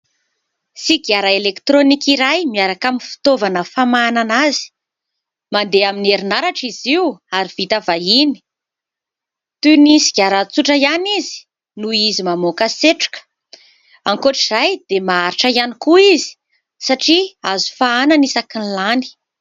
Sigara elektronika iray miaraka amin'ny fitaovana famahanana azy. Mandeha amin'ny herinaratra izy io ary vita vahiny. Toy ny sigara tsotra ihany izy noho izy mamoaka setroka. Ankoatra izay dia maharitra ihany koa izy satria azo fahanana isakin'ny lany.